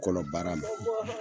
Kɔlɔbaara ma.